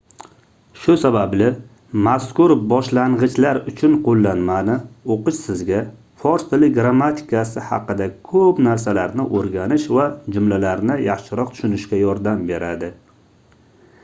shu sababli mazkur boshlangʻichlar uchun qoʻllanmani oʻqish sizga fors tili grammatikasi haqida koʻp narsalarni oʻrganish va jumlalarni yaxshiroq tushunishga yordam beradi